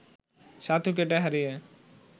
সাত উইকেট হারিয়ে